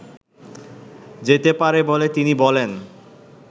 যেতে পারে বলে তিনি বলেন